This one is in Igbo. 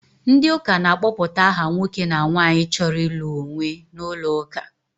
Ndị ụka na-akpọpụta aha nwoke na nwaanyị chọrọ ịlụ onwe n'ụlọ ụka.